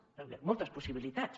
jo hi veig moltes possibilitats